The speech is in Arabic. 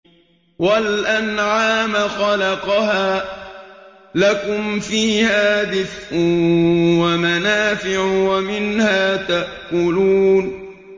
وَالْأَنْعَامَ خَلَقَهَا ۗ لَكُمْ فِيهَا دِفْءٌ وَمَنَافِعُ وَمِنْهَا تَأْكُلُونَ